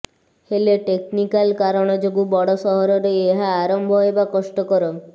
ହେଲେ ଟେକ୍ନିକାଲ କାରଣ ଯୋଗୁଁ ବଡ ସହରରେ ଏହା ଆରମ୍ଭ ହେବା କଷ୍ଟକର